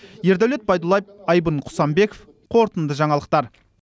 ердәулет байдуллаев айбын құсанбеков қорытынды жаңалықтар